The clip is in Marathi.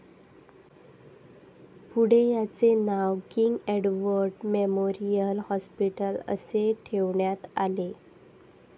पुढे याचे नाव किंग एडवर्ड मेमोरियल हॉस्पिटल असे ठेवण्यात आले..